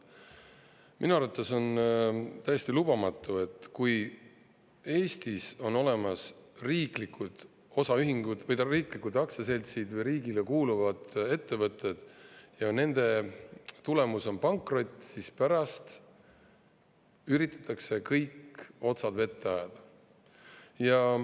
Minu arvates on täiesti lubamatu, et kui Eestis on olemas riiklikud aktsiaseltsid või riigile kuuluvad ettevõtted ja nende tulemus on pankrot, siis pärast üritatakse kõik otsad vette ajada.